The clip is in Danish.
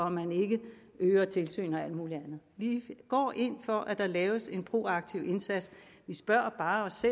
at man ikke øger tilsyn og alt muligt andet vi går ind for at der laves en proaktiv indsats vi spørger bare os